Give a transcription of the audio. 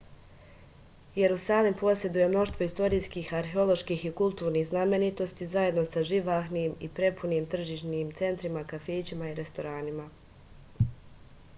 jerusalim poseduje mnoštvo istorijskih arheoloških i kulturnih znamenitosti zajedno sa živahnim i prepunim tržnim centrima kafićima i restoranima